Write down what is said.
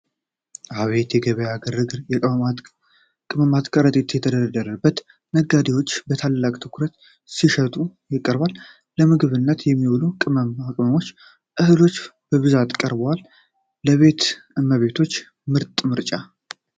አቤት የገበያ ግርግር! የቅመማ ቅመም ከረጢቶች ተደራርበው! ነጋዴው በታላቅ ትኩረት ሸቀጡን ያቀርባል! ለምግብነት የሚውሉ ቅመማ ቅመሞችና እህሎች በብዛት ቀርበዋል! ለቤት እመቤቶች ምርጥ ምርጫ!